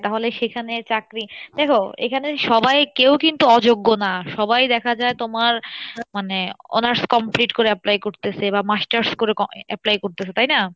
তাহলে সেখানে চাকরি, দেখো এখানে সবাই কেউ কিন্তু অযোগ্য না সবাই দেখা যাই তোমার মানে honours complete করে apply করতেসে বা masters করে apply করতেসে তাই না?